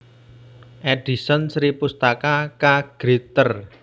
Edison Sripustaka K Gritter